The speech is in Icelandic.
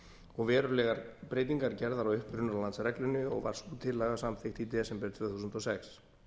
og verulegar breytingar gerðar á upprunalandsreglunni og var sú tillaga samþykkt í desember tvö þúsund og sex